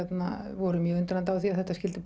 voru mjög undrandi yfir því að þetta skyldi